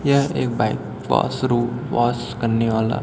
यह एक bike washroom wash करने वाला--